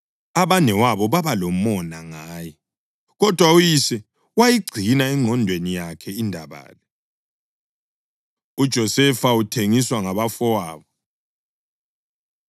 Abanewabo babalomona ngaye, kodwa uyise wayigcina engqondweni yakhe indaba le. UJosefa Uthengiswa Ngabafowabo